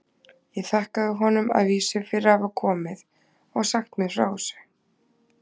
Ég þakkaði honum að vísu fyrir að hafa komið og sagt mér frá þessu.